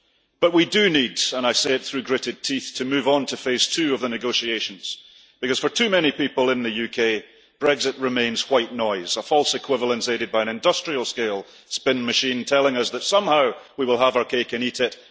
But we do need and I say it through gritted teeth to move onto phase two of the negotiations, because for too many people in the UK Brexit remains white noise a false equivalence aided by an industrial-scale spin machine telling us that somehow we will have our cake and eat it